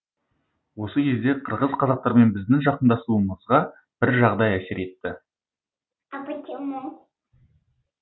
осы кезде қырғыз қазақтармен біздің жақындасуымызға бір жағдай әсер етті